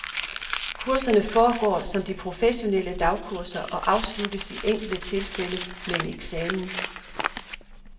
Kurserne foregår som de professionelle dagkurser og afsluttes i enkelte tilfælde med en eksamen.